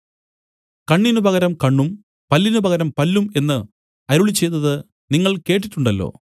കണ്ണിന് പകരം കണ്ണും പല്ലിന് പകരം പല്ലും എന്നു അരുളിച്ചെയ്തത് നിങ്ങൾ കേട്ടിട്ടുണ്ടല്ലോ